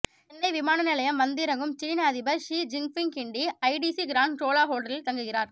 சென்னை விமான நிலையம் வந்திறங்கும் சீனா அதிபர் Xi Jinping Guindy ITC Grand Chola ஹோட்டலில் தங்குகிறார்